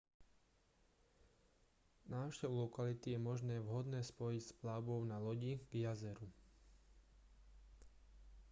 návštevu lokality je možné vhodne spojiť s plavbou na lodi k jazeru